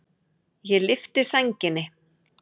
Ég lyfti sænginni.